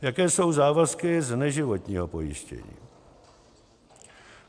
Jaké jsou závazky z neživotního pojištění: